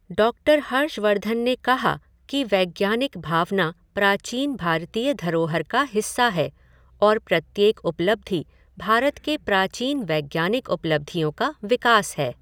Doctor Harshvardhan ने कहा कि वैज्ञानिक भावना प्राचीन भारतीय धरोहर का हिस्सा है और प्रत्येक उपलब्धि भारत के प्राचीन वैज्ञानिक उपलब्धियों का विकास है।